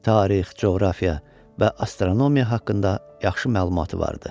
Tarix, coğrafiya və astronomiya haqqında yaxşı məlumatı vardı.